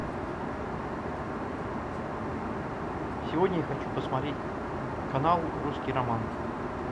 сегодня я хочу посмотреть канал русский роман